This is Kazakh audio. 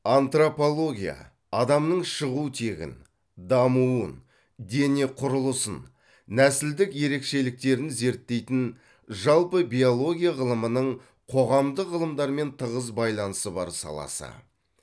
антропология адамның шығу тегін дамуын дене құрылысын нәсілдік ерекшеліктерін зерттейтін жалпы биология ғылымының қоғамдық ғылымдармен тығыз байланысы бар саласы